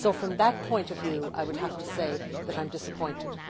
So from that point of view, I would have to say that I am disappointed.